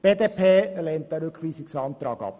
Die BDP lehnt den Rückweisungsantrag ab.